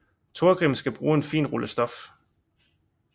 Torgrim skal bruge en fin rulle stof